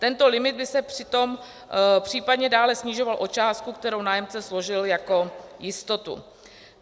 Tento limit by se přitom případně dále snižoval o částku, kterou nájemce složil jako jistotu.